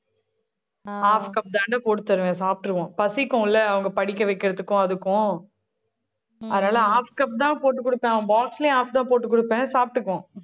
half cup தாண்டா போட்டு தருவேன் சாப்பிட்டுருவான். பசிக்கும்ல அவங்க படிக்க வைக்கிறதுக்கும் அதுக்கும் அதனால half cup தான் போட்டுக் கொடுப்பேன். அவன் box லயும், half தான் போட்டுக் கொடுப்பேன் சாப்பிட்டுக்குவான்.